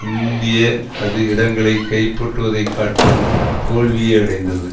இந்திய அது இடங்களை கைப்பற்றுவதைக் காட்டிலும் தோல்வியே அடைந்தது